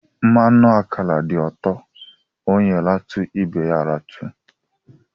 Mmanụ ákàrà dị ụtọ, ónyé ratu ibé ya ratu.